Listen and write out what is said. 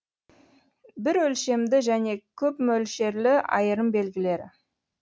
бірөлшемді және көпмөлшерлі айырым белгілері